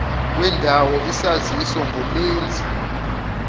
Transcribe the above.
wendawo isaziso ngomenzi